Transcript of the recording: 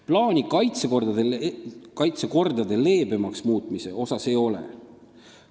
Plaani kaitsekordi leebemaks muuta ei ole.